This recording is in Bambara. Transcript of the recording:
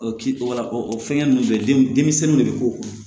O kiri wala ɔ o fɛngɛ ninnu bɛ den denmisɛnninw de bɛ k'o kun